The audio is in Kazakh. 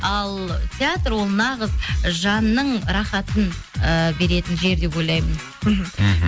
ал театр ол нағыз жанның ы рахатын ыыы беретін жер деп ойлаймын мхм мхм